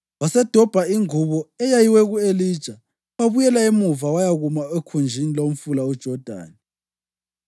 Wasedobha ingubo eyayiwe ku-Elija wabuyela emuva wayakuma okhunjini lomfula uJodani.